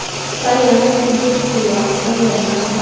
tsayang sedirisiwa sa yona sa